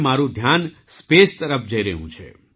મારું ધ્યાન સ્પેસ તરફ જઈ રહ્યું છે